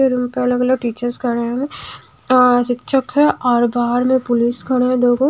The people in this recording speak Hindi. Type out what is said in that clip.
रूम पे अलग अलग टीचर्स खड़े हैं और और बाहर में पुलिस खड़े हैं दो लोग।